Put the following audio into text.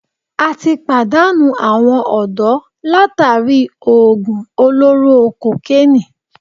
atí pàdánù awọn ọ̀dọ́ látàri òògùn olóró kokénìí.